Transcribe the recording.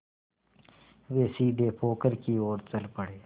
वे सीधे पोखर की ओर चल पड़े